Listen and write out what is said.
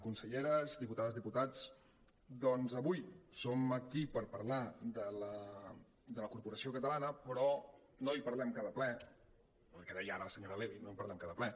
conselleres diputades diputats doncs avui som aquí per parlar de la corporació catalana però no en parlem cada ple que deia ara la senyo·ra levi no en parlem cada ple